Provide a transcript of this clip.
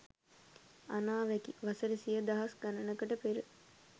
අනාවැකි! වසර සිය දහස් ගනනකට පෙර